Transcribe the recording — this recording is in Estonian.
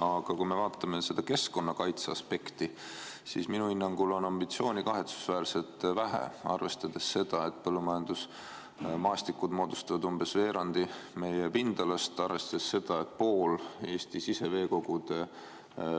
Aga kui me vaatame keskkonnakaitse aspekti, siis minu hinnangul on ambitsiooni kahetsusväärselt vähe, arvestades seda, et põllumajandusmaastikud moodustavad umbes veerandi meie pindalast, arvestades seda, et pool Eesti siseveekogude